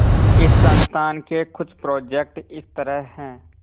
इस संस्थान के कुछ प्रोजेक्ट इस तरह हैंः